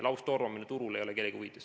Laustormamine turul ei ole kellegi huvides.